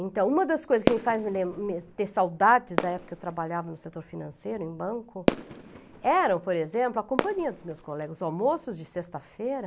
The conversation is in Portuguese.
Então, uma das coisas que me le me faz ter saudades da época que eu trabalhava no setor financeiro, em banco, era, por exemplo, a companhia dos meus colegas, os almoços de sexta-feira,